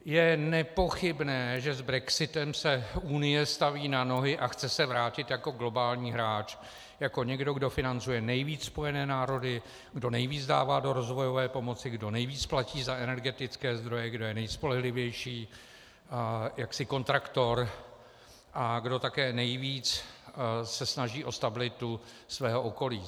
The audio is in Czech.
Je nepochybné, že s brexitem se Unie staví na nohy a chce se vrátit jako globální hráč, jako někdo, kdo financuje nejvíc Spojené národy, kdo nejvíc dává do rozvojové pomoci, kdo nejvíc platí za energetické zdroje, kdo je nejspolehlivější jaksi kontraktor a kdo také nejvíc se snaží o stabilitu svého okolí.